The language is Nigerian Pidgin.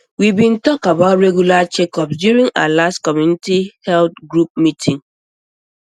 we bin talk about regular checkups during our last community health group meeting